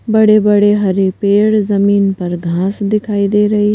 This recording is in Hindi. बड़े-बड़े हरे पेड़ जमीन पर घास दिखाई दे रही--